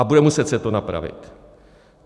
A bude muset se to napravit.